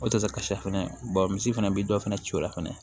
O tɛ se ka kasa fɛnɛ bɔn misi fana bɛ dɔ fana ci o la fɛnɛ